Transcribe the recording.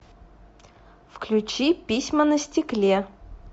включи письма на стекле